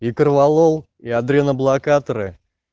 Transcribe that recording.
гитер лол и адреноблокаторы